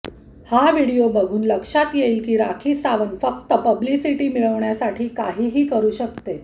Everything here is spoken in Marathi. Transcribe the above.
हा व्हिडिओ बघून लक्षात येईल की राखी सावंत फक्त पब्लिसिटी मिळवण्यासाठी काहीही करू शकते